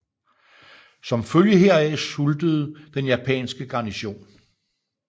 Som følge heraf sultede den japanske garnison